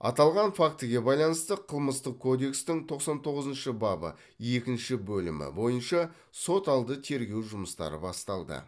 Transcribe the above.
аталған фактіге байланысты қылмыстық кодекстің тоқсан тоғызыншы бабы екінші бөлімі бойынша сот алды тергеу жұмыстары басталды